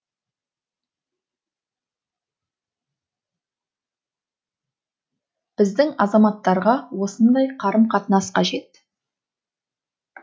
біздің азаматтарға осындай қарым қатынас қажет